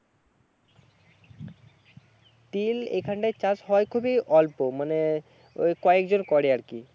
তিল এখানটায় চাষ হয় খুবই অল্প মানে ওই কয়েকজন করে আরকি